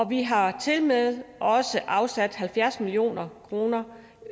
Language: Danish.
vi har tilmed afsat halvfjerds million kroner